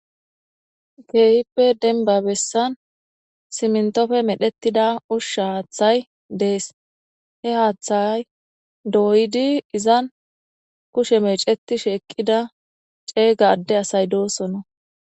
Keehippe denba bessan simntofe medhettida ushsha haaththay dees he haaththayay dooydi izan kushe meeceti sheeqqida ceeyga adde asay doosonna.